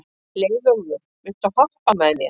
Leiðólfur, viltu hoppa með mér?